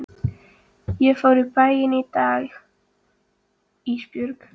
Ég fór í bæinn í dag Ísbjörg.